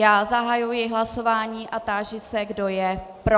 Já zahajuji hlasování a táži se, kdo je pro.